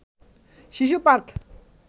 শিশু পার্ক